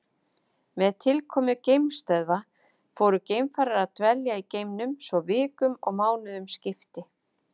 Með tilkomu geimstöðva fóru geimfarar að dvelja í geimnum svo vikum og mánuðum skipti.